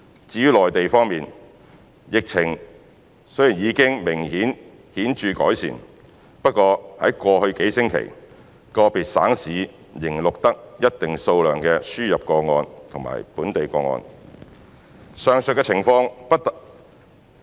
至於內地方面，疫情雖然已經顯著改善，不過在過去數星期，個別省市仍錄得一定數量的輸入個案及本地個案。